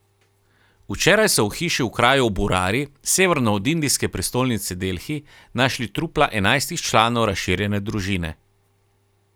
Včeraj so v hiši v kraju Burari severno od indijske prestolnice Delhi našli trupla enajstih članov razširjene družine.